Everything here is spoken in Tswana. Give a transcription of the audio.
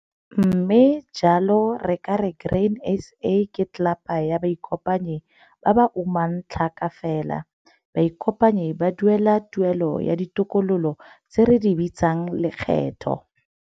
Mme jalo re ka re Grain SA ke tlelapa ya baikopanyi ba ba umang tlhaka fela. Baikopanyi ba duela 'tuelo ya ditokololo', tse re di bitswang 'lekgetho'.